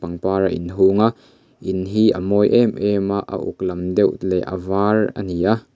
var a in hung a in hi a mawi em em a a uk lam deuh le a var a ni a.